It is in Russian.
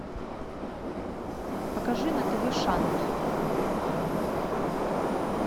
покажи на тв шант